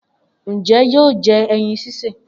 Njẹ yóò jẹ ẹyin sise?